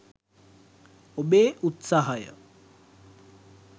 ඔබේ උත්සාහය